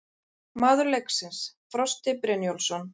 Maður leiksins: Frosti Brynjólfsson